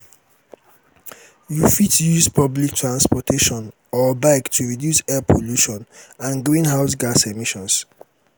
you fit use public transportation or bike to reduce air pollution and greenhouse gas emissions.